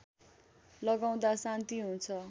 लगाउदा शान्ति हुन्छ